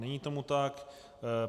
Není tomu tak.